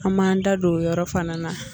An b'an da don o yɔrɔ fana na.